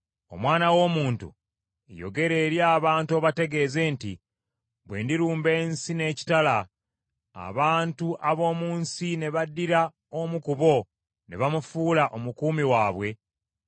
“Omwana w’omuntu yogera eri abantu obategeeze nti, ‘Bwe ndirumba ensi n’ekitala, abantu ab’omu nsi ne baddira omu ku bo ne bamufuula omukuumi waabwe,